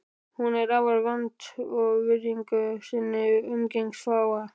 Hún er afar vönd að virðingu sinni og umgengst fáa.